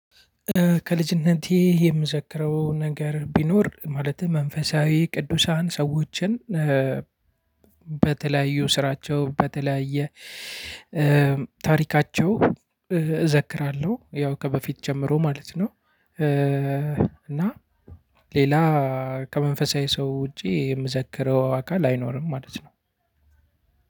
ከልጅነቴ የምዘክረው ነገር ቢኖር ማለትም መንፈሳዊ ቅዱሳን ሰዎችን በተለያዩ ስራቸው፣ በተለያየ ታሪካቸው እዘክራለሁ። ያው ከበፊት ጀምሮ ማለት ነው እና ሌላ ከመንፈሳዊ ሰው ውጪ የምዘክረው አካል አይኖርም ማለት ነው።